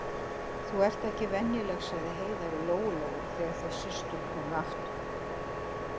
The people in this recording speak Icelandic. Þú ert ekki venjuleg, sagði Heiða við Lóu-Lóu þegar þær systur komu aftur.